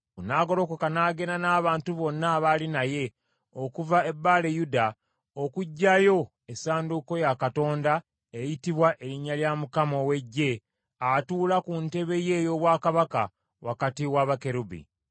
N’agolokoka n’agenda n’abantu bonna abaali naye, okuva e Baale, Yuda, okuggyayo essanduuko ya Katonda eyitibwa Erinnya lya Mukama ow’Eggye atuula ku ntebe ye ey’obwakabaka wakati wa bakerubi.